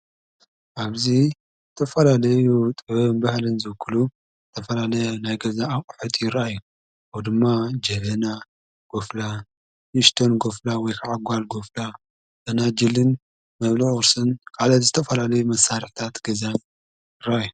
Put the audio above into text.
ኣብዙይ ተፈላለዩ ጥበብን ባህሊን ዝውክሉ ተፈላለይ ናይ ገዛ ኣብቝሕቲ ረይ ኦ ድማ ጀፌና ጐፍላ ይሽቶን ጐፍላ ወይከዓጓል ጐፍላ እና ፈናጅልን መብልዒ ቁርስን ቃለ ዝተፈላለይ መሣርሕታት ገዛ እዩ።